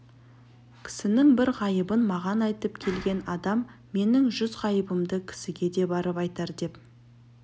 кісінің бір ғайыбын маған айтып келген адам менің жүз ғайыбымды кісіге де барып айтар деп